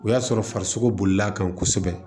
O y'a sɔrɔ farisoko bolila kan kosɛbɛ